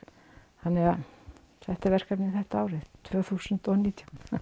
þannig að þetta er verkefnið þetta árið tvö þúsund og nítján